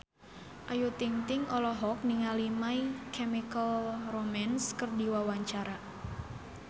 Ayu Ting-ting olohok ningali My Chemical Romance keur diwawancara